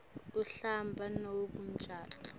uhamba nobe ucabanga